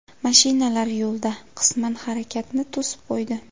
Mashinalar yo‘lda qisman harakatni to‘sib qo‘ydi.